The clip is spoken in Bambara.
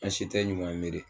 An si tɛ ɲuman miiri.